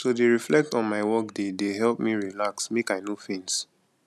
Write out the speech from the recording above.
to dey reflect on my workday dey help me relax make i no faint